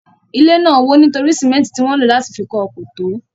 Ilé náà wò nítorí símẹ́ntì tí wọn lò láti fi kọ́ ọ kò tó.